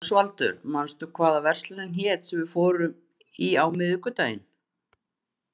Ósvaldur, manstu hvað verslunin hét sem við fórum í á miðvikudaginn?